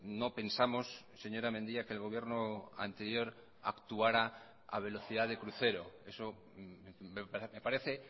no pensamos señora mendia que el gobierno anterior actuara a velocidad de crucero eso me parece